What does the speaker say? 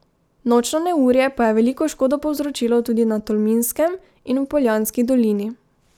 Nočno neurje pa je veliko škodo povzročilo tudi na Tolminskem in v Poljanski dolini.